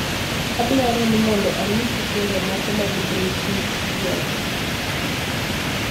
adwaro ni mondo anyisu thumbe moko mag Britney Spears